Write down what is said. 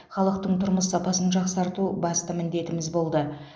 халықтың тұрмыс сапасын жақсарту басты міндетіміз болды